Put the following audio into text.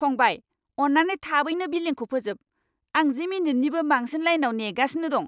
फंबाय, अन्नानै थाबैनो बिलिंखौ फोजोब! आं जि मिनिटनिबो बांसिन लाइनआव नेगासिनो दं।